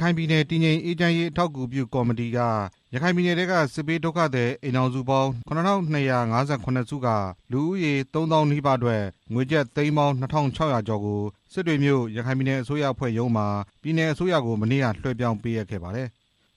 ခိုင်ပြည်နယ် တည်ငြိမ်အေးချမ်းရေး အထောက်အကူပြုကော်မတီက ရခိုင်ပြည်နယ်ထဲက စစ်ဘေးဒုက္ခသည် အိမ်ထောင်စုပေါင်း ၇၂၅၇ စုကို လူဦးရေ သုံးသောင်းနီးပါးတို့အတွက် ငွေကျပ် သိန်းပေါင်း ၂၆ဝဝ ကျော်ကို မနေ့က စစ်တွေမြို့ ရခိုင်ပြည်နယ်အစိုးရအဖွဲ့ရုံးမှာ ပြည်နယ်အစိုးရထံ လွှဲပြောင်းပေးအပ်ခဲ့ပါတယ်။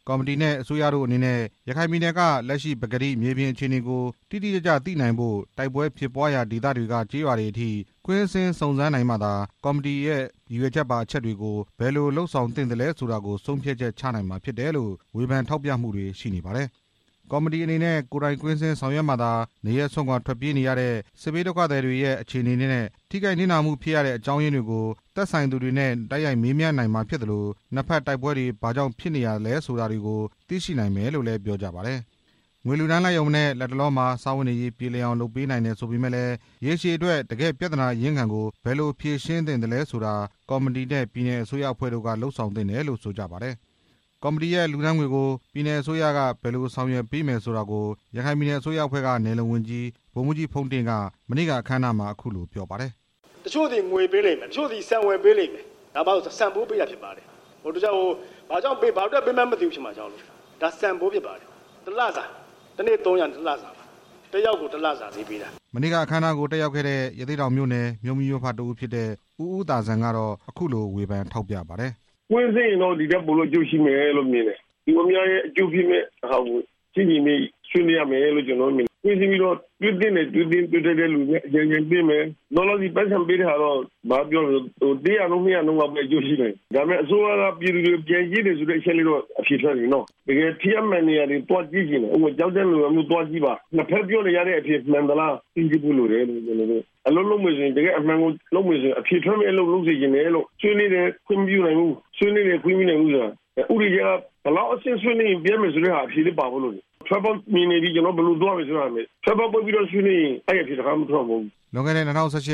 ကော်မတီအဖွဲ့နဲ့ အစိုးရတို့အနေနဲ့ ရခိုင်ပြည်နယ်က လက်ရှိပကတိမြေပြင်အခြေအနေကို တိတိကျကျ သိရှိနိုင်ဖို့ တိုက်ပွဲဖြစ်ပွားရာနေရာတွေက ကျေးရွာတွေအထိ ကွင်းဆင်းစုံစမ်းနိုင်မှသာ ကော်မတီရဲ့ ရည်ရွယ်ချက်ပါအချက်တွေကို ဘယ်လိုလုပ်ဆောင်သင့်သလဲဆိုတာကို ဆုံးဖြတ်ချက်ချနိုင်မှာ ဖြစ်တယ်လို့ ဝေဖန်ထောက်ပြကြပါတယ်။ နှစ်ဘက်တိုက်ပွဲတွေက ဘာကြောင့်ဖြစ်ရတယ်၊ ကြားထဲက ရခိုင်ပြည်သူတွေဟာ စစ်ပွဲကြောင့် နေရပ်စွန့်ခွာထွက်ပြေးနေကြရသလို ဘယ်အဖွဲ့အစည်းရဲ့လက်ချက်ကြောင့် ထိခိုက်နစ်နာနေကြရတယ်ဆိုတာတွေကို ကိုယ်တိုင်သိရှိနိုင်မှသာ အဖြေရနိုင်မယ်လို့လည်း ပြောကြပါတယ်။ ငွေလှူဒါန်းလိုက်ရုံနဲ့ လတ်တလောမှာ စားဝတ်နေရေးပြေလည်အောင် လုပ်ဆောင်ပေးတယ်ဆိုပေမယ့်လည်း ရေရှည်အတွက် တစ်ကယ့်ပြဿနာအရင်းခံကို ဘယ်လိုဖြေရှင်းသင့်သလဲဆိုတာ ကော်မတီနဲ့ ပြည်နယ်အစိုးရအဖွဲ့တို့က လုပ်ဆောင်သင့်တယ်လို့ ဆိုကြပါတယ်။ ကော်မတီရဲ့လှူဒါန်းငွေတွေကို ပြည်နယ်အစိုးရက ဘယ်လိုလုပ်ဆောင်ပေးမယ်ဆိုတာကို ရခိုင်ပြည်နယ်အစိုးရအဖွဲ့က နယ်/လုံဝန်ကြီး ဗိုလ်မှူးကြီး ဖုန်းတင့်က မနေ့က အခမ်းအနားမှာ အခုလို ပြောပါတယ်။ ငွေပေးလိမ့်မယ် တစ်ချို့သည် ဆန်ဝေပေးလိမ့်မယ်၊ ဒါက ဆန်ဖိုးပေးတာဖြစ်ပါတယ်၊ ဘာအတွက်ပေး ဘာကြောင့်ပေးမှန်း မသိမှာကြောက်လို့၊ ဒါဆန်ဖိုးဖြစ်ပါတယ် တစ်လစာ တစ်နေ့ သုံးရာနဲ့ တစ်လစာပါ၊ တစ်ယောက်ကို တစ်လစာ မနေ့က အခမ်းအနားကိုတက်ရောက်ခဲ့တဲ့ ရသေ့တောင်မြို့နယ် မြို့မိမြို့ဖတစ်ဦးဖြစ်တဲ့ ဦးဦးသာဇံက အခုလို ဝေဖန်ထောက်ပြပါတယ်။ ဒီထက်ပိုပြီးတော့ အကျိုးရှိမယ်လို့မြင်တယ်၊ လူအများရဲ့အကျိုးပြုမယ့်ဟာကို ဆွေးနွေးရမယ်လို့မြင်တယ်၊ တွေ့သင့်တယ် တွေ့ထိုက်တဲ့သူနဲ့တွေ့ပြီး အကြံဉာဏ်ပေးမယ် လောလောဆယ် ပိုက်ဆံပေးတဲ့ဟာတော့ ပေးရတုန်းကတော့ အကျိုးရှိနိုင်မယ်၊ အစိုးရက ပြည်သူတွေကိုပြန်ကြည့်တယ်ဆိုတဲ့ အဖြေတော့ ထွက်တယ်နော၊ တစ်ကယ်ထိရောက်မယ့် နေရာမျိုးသွားကြည့်ပါ၊ ကျောက်တန်းလိုနေရာမျိုး နှစ်ဖက်ပြောနေကြတဲ့ အဖြေမှန်သလား၊ အလုပ်လုပ်မယ်ဆိုရင် အဖြေထွက်မယ့် အလုပ်ကို လုပ်စေချင်တယ်လို့၊ ဆွေးနွေးတယ် ခွင့်မပြုနိုင်ဘူးဆိုတာ ဥပဒေကြောင်းအရ ဘယ်လောက်အဆင့် ဆွေးနွေးရင် အဖြေရမယ်ဆိုတဲ့ဟာကို ပါဖို့လိုတယ်၊ ထွက်ပေါက်တွေ့နေပြီ ကျွန်တော်တို့ ဘယ်လိုသွားရမယ်ဆိုတဲ့ဟာကို ဆွေးနွေးဖို့လိုတယ်၊ ထွက်ပေါက်ပိတ်ပြီးတော့ ဆွေးနွေးရင် အဲဒီအဖြေ လွန်ခဲ့တဲ့ ၂ဝ၁၈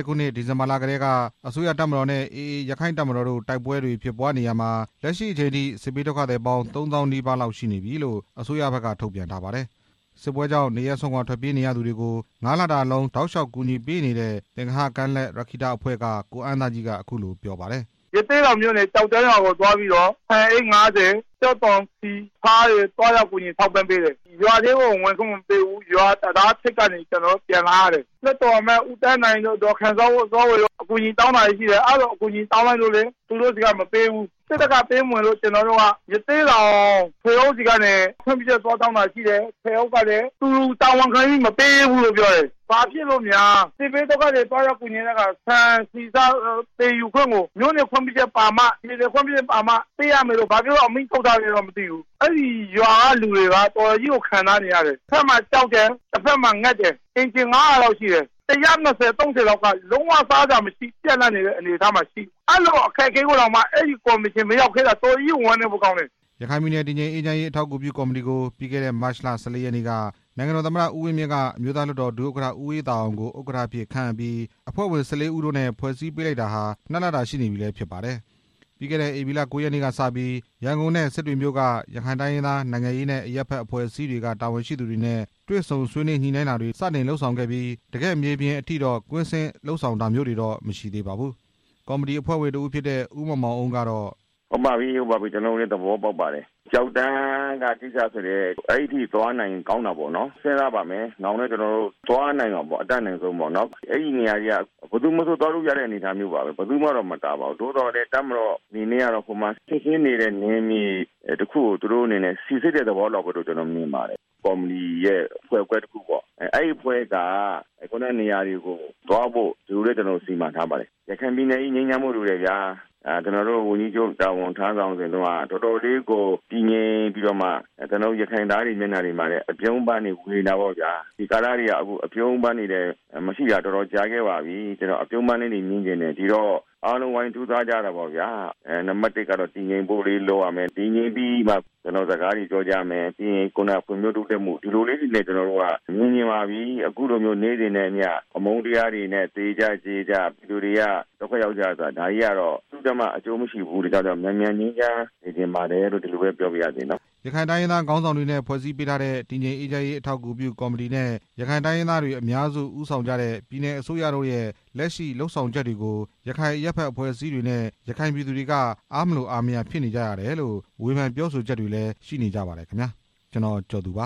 ခုနှစ် ဒီဇင်ဘာလကတည်းက အစိုးရတပ်မတော်နဲ့ AA ရက္ခိုင့်တပ်မတော်တို့ တိုက်ပွဲတွေဖြစ်ပွားနေရာမှာ လက်ရှိအချိန်အထိ စစ်ဘေးဒုက္ခသည်ပေါင်း သုံးသောင်းနီးပါးရှိနေပြီလို့ အစိုးရဖက်က ထုတ်ပြန်ထားပါတယ်။ စစ်ပွဲကြောင့် နေရပ်စွန့်ခွာထွက်ပြေးနေရသူတွေကို ငါးလတာလုံး ကူညီပေးနေတဲ့ သင်္ဂဟကမ်းလက် ရက္ခိတအဖွဲ့က ကိုအမ်းသားကြီးက အခုလို ပြောပါတယ်။ ကျောက်တန်းရွာကိုသွားပြီးတော့ ဆန်အိတ် ၅ဝ၊ ကြက်သွန်၊ ဆီ၊၊ ဆားတွေ သွားရောက်ကူညီ ထောက်ပံ့ပေးတယ်၊ ရွာထဲကို ဝင်ခွင့်မပေးဘူး၊ ရွာတံတားထိပ်ကနေ ကျွန်တော်တို့ ပြန်လာခဲ့ရတယ်၊ လွှတ်တော်အမတ် ဦးသန်းနိုင်တို့ ဒေါ်ခင်စောဝေတို့ အကူအညီနဲ့ တောင်းတယ်ဆိုပေမယ့်လည်း သူတို့ဆီက မပေးဘူး၊ စစ်တပ်က ပေးမဝင်လို့ ကျွန်တော်တို့က ရသေ့တောင် ထွေအုပ်ဆီကနေ ခွင့်ပြုချက်သွားတောင်းတာရှိခဲ့တယ်၊ ထွေအုပ်ကလည်း သူတာဝန်ခံပြီး မပေးရဲဘူးလို့ပြောတယ်၊ ဘာဖြစ်လို့များ စစ်ဘေးဒုက္ခသည် သွားရောက်ကူညီတဲ့အခါ ဆန်ဆီဆား သယ်ယူခွင့်ကို မြို့နယ်/ပြည်နယ် ခွင့်ပြုချက်ပါမှ ပေးရမယ်လို့ ဘာဖြစ်လို့အမိန့်ထုတ်ထားလည်းတော့ မသိဘူး၊ အဲဒီရွာကလူတွေက တော်တော်ကြီးကို ခံစားနေရတယ်၊ တစ်ဖက်မှာ ကြောက်တယ် တစ်ဖက်မှာ ငတ်တယ်၊ အိမ်ခြေ ငါးရာလောက်ရှိတယ်၊ ၁၂ဝ / ၃၀ လောက်က လုံးဝ စားစရာမရှိဖြစ်နေတယ်၊ အဲလိုအခက်အခဲမှာ အဲဒီကော်မရှင် မရောက်တာ တော်တော်ကြီးကို ဝမ်းနည်းဖို့ကောင်းတယ် ရခိုင်ပြည်နယ် တည်ငြိမ်အေးချမ်းရေး အထောက်အကူပြုကော်မတီကို ပြီးခဲ့တဲ့ မတ်လ ၁၄ ရက်နေ့က နိုင်ငံတော်သမ္မတ ဦးဝင်းမြင့်က အမျိုးသားလွှတ်တော်ဒု-ဥက္ကဋ္ဌ ဦးအေးသာအောင်ကို ဥက္ကဋ္ဌအဖြစ် ခန့်အပ်ပြီး အဖွဲ့ဝင် ၁၄ ဦးနဲ့ ဖွဲ့စည်းပေးလိုက်တာ နှစ်လတာရှိနေပြီလည်းဖြစ်ပါတယ်။ ပြီးခဲ့တဲ့ ဧပြီလ ကိုးရက်နေ့ကစပြီး ရန်ကုန်နဲ့စစ်တွေမြို့က ရခိုင်တိုင်းရင်းသား နိုင်ငံရေးနဲ့အရပ်ဖက် အဖွဲ့အစည်းတွေက တာဝန်ရှိသူတွေနဲ့ ဆွေးနွေးညှိနှိုင်းတာတွေ စတင်လုပ်ဆောင်ခဲ့ကာ တစ်ကယ့်မြေပြင်အထိတော့ ကွင်းဆင်းလုပ်ဆောင်တာတော့ မရှိသေးပါဘူး။ ကော်မတီအဖွဲ့ဝင်တစ်ဦးဖြစ်တဲ့ ဦးမောင်မောင်အုန်းက ကျွန်တော်တို့လည်း သဘောပေါက်ပါတယ်၊ ကျောက်တန်းကကိစ္စဆိုရင် အဲဒီအထိသွားနိုင်ရင် ကောင်းတာပေါ့နော်၊ စဉ်းစားပါမယ် နောင်လည်းကျွန်တော်တို့ သွားနိုင်အောင်ပေါ့၊ အတတ်နိုင်ဆုံး ဘယ်သူမဆိုသွားလို့ရတဲ့ အနေအထားပါပဲ၊ သို့သော်လည်း တပ်မတော်အနေနဲ့က စစ်ဆေးနေဆဲ နယ်မြေတစ်ခုကို စိစစ်နေတဲ့သဘောလို့မြင်ပါတယ်၊ ကော်မတီရဲ့အဖွဲ့ခွဲတစ်ခုပေါ့ အဲဒီအဖွဲ့က ခုနကနေရာတွေကို သွားဖို့စီမံထားပါတယ်၊ ရခိုင်ပြည်နယ်ကြီး ငြိမ်းချမ်းဖို့လိုတယ်ဗျာ၊ ကျွန်တော်တို့ဝန်ကြီးချုပ် တာဝန်ထမ်းဆောင်စဉ်က တော်တော်လေးကို တည်ငြိမ်ပြီးတော့ ရခိုင်သားတွေမျက်နှာမှာလည်း အပြုံးပန်းတွေဝေနေတာပေါ့ဗျာ၊ ဒီကာလတွေလည်း အပြုံးပန်းတွေ မရှိတာ တော်တော်ကြာခဲ့ပါပြီ၊ အားလုံးဝိုင်းကြိုးစားကြတာပေ့ါဗျာ၊ နံပါတ်တစ်က တည်ငြိမ်ဖို့လေးလုပ်ရမယ်၊ တည်ငြိမ်ပြီးရင် ကျွန်တော်တို့ စကားတွေပြောကြမယ်၊ ပြီးရင်ဖွံ့ဖြိုးတိုးတက်မှု ဒီလိုလေးတွေ မြင်ချင်ပါပြီ၊၊ အခုလို နေ့စဉ်နဲ့အမျှ အမုန်းတရားတွေနဲ့ သေကြကြေကြ ဒုက္ခရောက်ကြရတာတွေက ဘယ်သူ့အတွက်မှ အကျိုးမရှိပါဘူး၊ ဒါကြောင့် မြန်မြန်ငြိမ်းချမ်းစေချင်ပါပြီလို့ ရခိုင်တိုင်းရင်းသားခေါင်းဆောင်တွေနဲ့ ဖွ့ဲစည်းပေးထားတဲ့ တည်ငြိမ်အေးချမ်းရေး အထောက်အကူပြု ကော်မတီနဲ့ ရခိုင်တိုင်းရင်းသားတွေ အများစုဦးဆောင်ကြတဲ့ ပြည်နယ်အစိုးရတို့ရဲ့ လက်ရှိလုပ်ဆောင်ချက်တွေဟာ ထိထိရောက်ရောက်ရှိဖို့ ရခိုင်အရပ်ဖက်အဖွဲ့အစည်းတွေနဲ့ ရခိုင်ပြည်သူတွေက အားမလိုအားမရဖြစ်နေကြရတယ်လို့ ဝေဖန်ပြောဆိုကြပါတယ်ခင်ဗျာ။ ကျွန်တော် ကျော်သူ ပါ